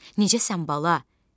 Necəsən bala?